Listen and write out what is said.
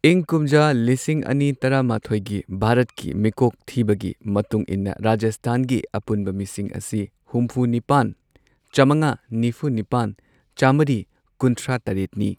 ꯏꯪ ꯀꯨꯝꯖꯥ ꯂꯤꯁꯤꯡ ꯑꯅꯤ ꯇꯔꯥꯃꯥꯊꯣꯏꯒꯤ ꯚꯥꯔꯠꯀꯤ ꯃꯤꯀꯣꯛ ꯊꯤꯕꯒꯤ ꯃꯇꯨꯡ ꯏꯟꯅ ꯔꯥꯖꯁꯊꯥꯟꯒꯤ ꯑꯄꯨꯟꯕ ꯃꯤꯁꯤꯡ ꯑꯁꯤ ꯍꯨꯝꯐꯨ ꯅꯤꯄꯥꯟ, ꯆꯥꯃꯉꯥ ꯅꯤꯐꯨ ꯅꯤꯄꯥꯟ, ꯆꯝꯃ꯭ꯔꯤ ꯀꯨꯟꯊ꯭ꯔꯥ ꯇꯔꯦꯠꯅꯤ꯫